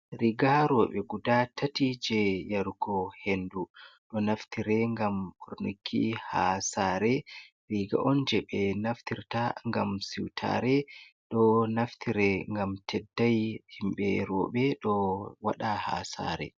Riga rooɓe guda tati jei yarugo hendu ɗo naftire ngam ɓornuki ha saare. Riga on jei ɓe naftirta ngam siwtare, ɗo naftire ngam teddai, himɓe rooɓe ɗo waɗa ha saare.